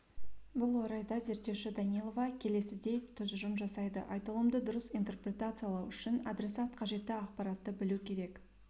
бұл орайда зерттеуші данилова келесідей тұжырым жасайды айтылымды дұрыс интерпретациялау үшін адресат қажетті ақпаратты білуі керек